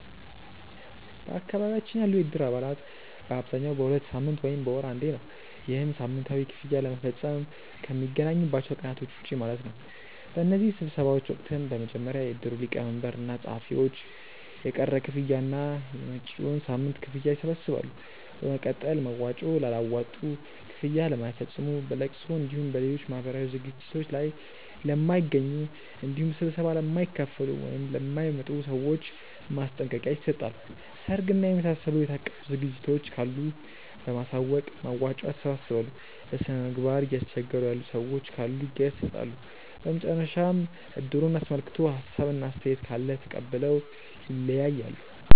በአካባቢያችን ያሉ የእድር አባላት በአብዛኛው በሁለት ሳምንት ወይም በወር አንዴ ነው። ይህም ሳምንታዊ ክፍያ ለመፈፀም ከሚገናኙባቸው ቀናቶች ውጪ ማለት ነው። በእነዚህ ስብሰባዎች ወቅትም በመጀመሪያ የእድሩ ሊቀመንበር እና ፀሀፊዎች የቀረ ክፍያ እና የመጪዉን ሳምንት ክፍያ ይሰበስባሉ። በመቀጠል መዋጮ ላላዋጡ፣ ክፍያ ለማይፈፅሙ፣ በለቅሶ እንዲሁም በሌሎች ማህበራዊ ዝግጅቶት ላይ ለማይገኙ እንዲሁም ስብሰባ ለማይካፈሉ ( ለማይመጡ) ሰዎች ማስጠንቀቂያ ይሰጣል። ሰርግ እና የመሳሰሉ የታቀዱ ዝግጅቶች ካሉ በማሳወቅ መዋጮ ያሰባስባሉ። በስነምግባር እያስቸገሩ ያሉ ሰዎች ካሉ ይገሰፃሉ። በመጨረሻም እድሩን አስመልክቶ ሀሳብ እና አስተያየት ካለ ተቀብለው ይለያያሉ።